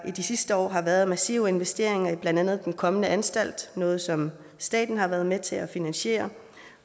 i de sidste år har været massive investeringer i blandt andet den kommende anstalt noget som staten har været med til at finansiere